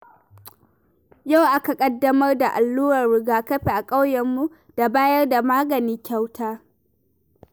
Yau aka ƙaddamar da allurar riga-kafi a ƙauyenmu, da bayar da magani kyauta.